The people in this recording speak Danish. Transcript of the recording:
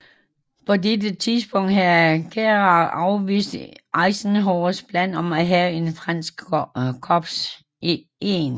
På dette tidspunkt havde Giraud afvist Eisenhowers plan om at have et fransk korps i 1